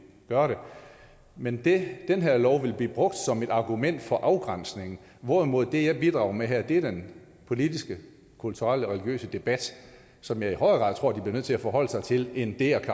gøre det men den her lov vil blive brugt som et argument for afgrænsning hvorimod det jeg bidrager med her er den politiske kulturelle religiøse debat som jeg i højere grad tror de bliver nødt til at forholde sig til end det at